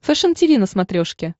фэшен тиви на смотрешке